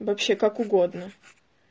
вообще как угодно